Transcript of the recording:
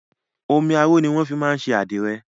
Omi aró ni wọ́n máa fin ń ṣe àdìrẹ.